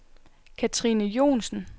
Kathrine Joensen